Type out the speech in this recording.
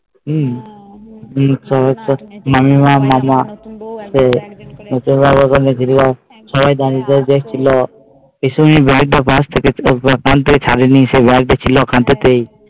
মামিমা মাইমা সবাই দাঁড়িয়ে দেখছিল